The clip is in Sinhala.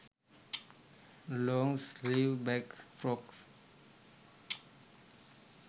long sleeve black frocks